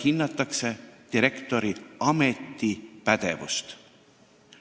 Hinnatakse direktori ametipädevust.